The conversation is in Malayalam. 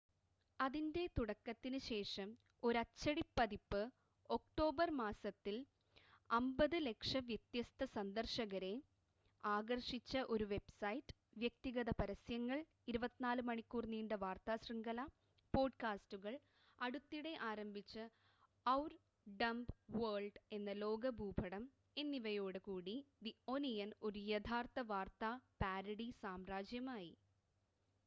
അതിൻ്റെ തുടക്കത്തിന് ശേഷം ഒരച്ചടി പതിപ്പ് ഒക്ടോബർ മാസത്തിൽ 5,000,000 വ്യത്യസ്ത സന്ദർശകരെ ആകർഷിച്ച ഒരു വെബ്സൈറ്റ് വ്യക്തിഗത പരസ്യങ്ങൾ 24 മണിക്കൂർ നീണ്ട വാർത്താ ശൃംഖല പോഡ്കാസ്റ്റുകൾ അടുത്തിടെ ആരംഭിച്ച ഔർ ഡംബ് വേൾഡ് എന്ന ലോക ഭൂപടം എന്നിവയോട് കൂടി ദി ഒനിയൻ ഒരു യഥാർത്ഥ വാർത്താ പാരഡി സാമ്രാജ്യമായി